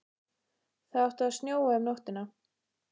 Það átti að snjóa um nóttina.